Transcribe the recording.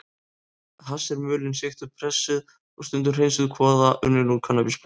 Hass er mulin, sigtuð, pressuð og stundum hreinsuð kvoða unnin úr kannabisplöntum.